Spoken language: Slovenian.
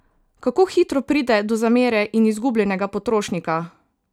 Kako hitro pride do zamere in izgubljenega potrošnika!